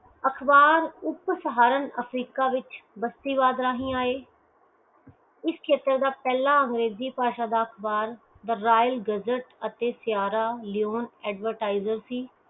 ਅਖਬਾਰ ਉਪਸਹਾਰਣ ਅਫਰੀਕਾ ਵਿਚ ਵਸਤੀ ਵਾਦ ਰਾਹੀਂ ਆਏ ਇਸ ਖੇਤਰ ਦਾ ਪਹਿਲੀ ਅੰਗਰੇਜ਼ੀ ਭਾਸ਼ਾ ਦਾ ਅਖਬਾਰ royal gazzete ਅਤੇ sierra leone advertiser ਸੀ